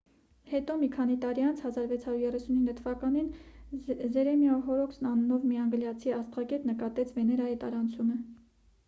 հետո մի քանի տարի անց 1639 թվականին ջերեմիա հորոքս անունով մի անգլիացի աստղագետ նկատեց վեներայի տարանցումը